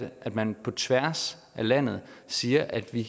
at man på tværs af landet siger at vi